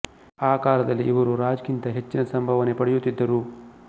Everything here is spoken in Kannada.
ಆ ಕಾಲದಲ್ಲಿ ಇವರು ರಾಜ್ ಗಿಂತ ಹೆಚ್ಚಿನ ಸಂಭಾವನೆ ಪಡೆಯುತ್ತಿದ್ದರು